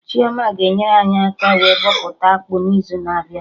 Chioma ga-enyere anyị aka wee bọpụta akpụ n'izu na-abịa